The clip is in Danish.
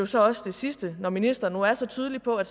så også det sidste når ministeren nu er så tydelig på at